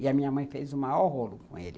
E a minha mãe fez o maior rolo com ele.